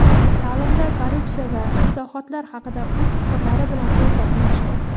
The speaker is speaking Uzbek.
ta’limda korrupsiya va islohotlar haqida o‘z fikrlari bilan o‘rtoqlashdi.